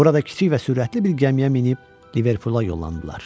Burada kiçik və sürətli bir gəmiyə minib Liverpula yollandılar.